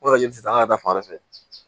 O la ji tɛ taa an ka taa fan wɛrɛ fɛ